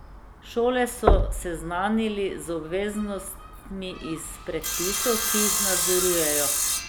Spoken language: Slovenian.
Šole so seznanili z obveznostmi iz predpisov, ki jih nadzorujejo.